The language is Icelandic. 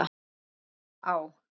Ást á